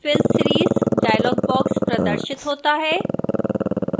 fill series dialog box प्रदर्शित होता है